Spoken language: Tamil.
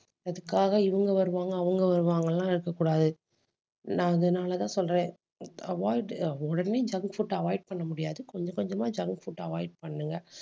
அதுக்காக இவங்க வருவாங்க அவங்க வருவாங்கன்னு எல்லாம் இருக்கக் கூடாது. நான் அதனாலதான் சொல்றேன் avoid உடனே junk food avoid பண்ண முடியாது. கொஞ்சம் கொஞ்சமா junk food avoid பண்ணுங்க